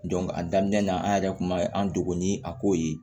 a daminɛ na an yɛrɛ kun ma an dogo ni a kow ye